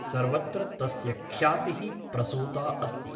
सर्वत्र तस्य ख्यातिः प्रसूता अस्ति ।